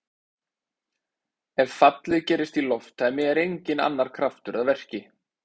Ef fallið gerist í lofttæmi er enginn annar kraftur að verki.